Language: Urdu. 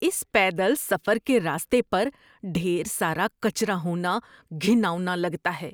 اس پیدل سفر کے راستے پر ڈھیر سارا کچرا ہونا گھناؤنا لگتا ہے۔